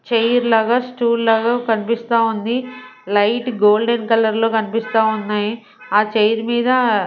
Chair లాగా stool లాగా కనిపిస్తా ఉంది లైట్ గోల్డెన్ కలర్ లో కనిపిస్తా ఉన్నాయి ఆ చైర్ మీద.